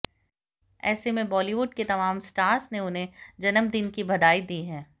ऐसे में बॉलीवुड के तमाम स्टार्स ने उन्हें जन्मदिन की बधाई दी है